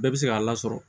Bɛɛ bɛ se k'a lasɔrɔ